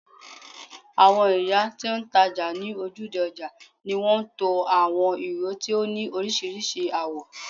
awon iya ti n taja ni ojude oja ni won to awon iro ti o ni orisirisi awo